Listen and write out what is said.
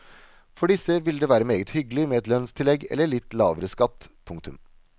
For disse ville det vært meget hyggelig med et lønnstillegg eller litt lavere skatt. punktum